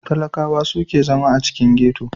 Talaƙawa su ke zama a cikin ghetto.